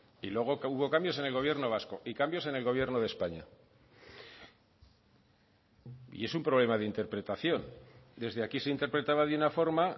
y luego que hubo cambios en el gobierno vasco y cambios en el gobierno de españa y es un problema de interpretación desde aquí se interpretaba de una forma